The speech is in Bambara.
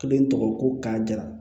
Kelen tɔgɔ ko k'a jira